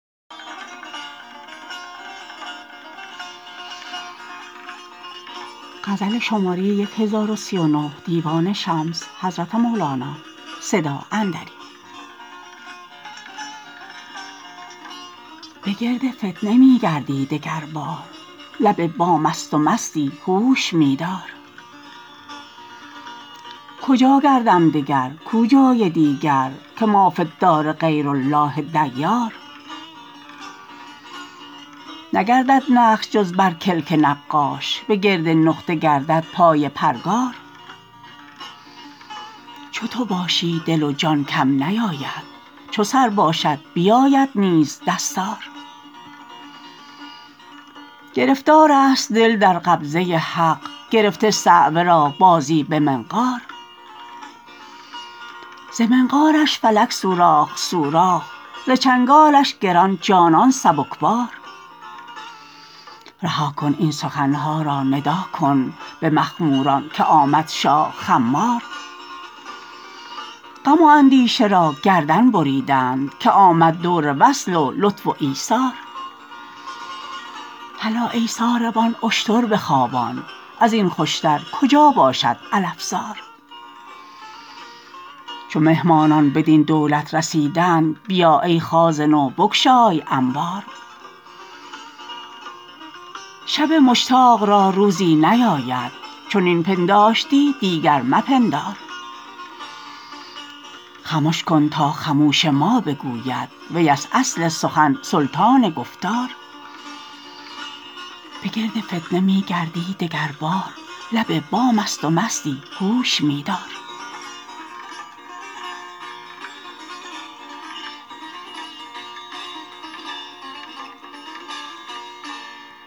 بگرد فتنه می گردی دگربار لب بامست و مستی هوش می دار کجا گردم دگر کو جای دیگر که ما فی الدار غیر الله دیار نگردد نقش جز بر کلک نقاش بگرد نقطه گردد پای پرگار چو تو باشی دل و جان کم نیاید چو سر باشد بیاید نیز دستار گرفتارست دل در قبضه حق گرفته صعوه را بازی به منقار ز منقارش فلک سوراخ سوراخ ز چنگالش گران جانان سبکبار رها کن این سخن ها را ندا کن به مخموران که آمد شاه خمار غم و اندیشه را گردن بریدند که آمد دور وصل و لطف و ایثار هلا ای ساربان اشتر بخوابان از این خوشتر کجا باشد علف زار چو مهمانان بدین دولت رسیدند بیا ای خازن و بگشای انبار شب مشتاق را روزی نیاید چنین پنداشتی دیگر مپندار خمش کن تا خموش ما بگوید ویست اصل سخن سلطان گفتار